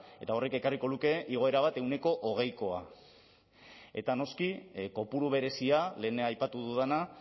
eta horrek ekarriko luke igoera bat ehuneko hogeikoa eta noski kopuru berezia lehen aipatu dudana